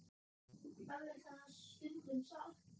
Eflaust er það stundum satt.